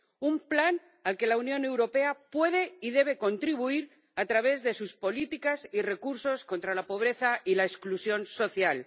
Un plan al que la Unión Europea puede y debe contribuir a través de sus políticas y recursos contra la pobreza y la exclusión social.